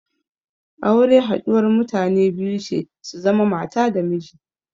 Aure haɗuwar mutane biyu ce su zama mata da miji.